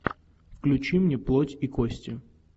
включи мне плоть и кости